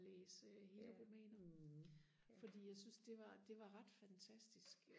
læse hele romaner fordi jeg syntes det var det var ret fantastisk